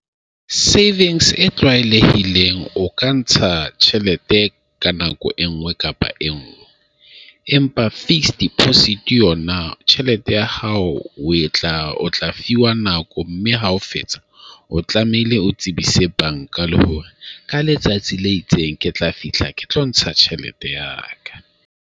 Savings e tlwaelehileng o ka ntsha tjhelete ka nako e nngwe kapa e nngwe. Empa fixed deposit yona tjhelete ya hao o tla o tla fiwa nako mme ha o fetsa , o tlamehile o tsebise banka le hore ka letsatsi le itseng ke tla fihla ke tlo ntsha tjhelete ya ka.